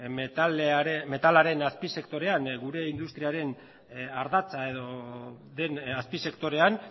metalaren azpisektorean gure industriaren ardatza den azpisektorean